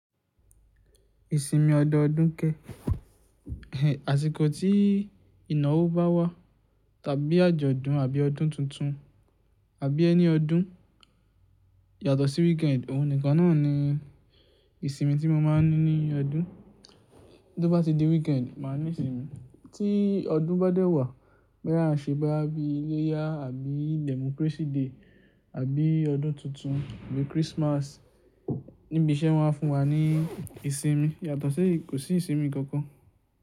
Ìsinmi ọdọọdún kẹ, àsìkò tí ìnáwó bá wà tàbí àjọ̀dún àbí ọdún tuntun àbí any ọdún yàtọ̀ sí weekend òhun nìkan náà ni ìsinmi tí mo máa ń ní ní ọdún. Tó bá ti di weekend máa ní ìsinmi. Tí ọdún bá dé wà, bóyá à ń ṣe bóyá bí iléyá àbí democracy day àbí ọdún tuntun àbí Christmas níbi iṣẹ́ wọ́n á fún wa ní ìsinmi yàtọ̀ sí kò sí ìsinmi kankan.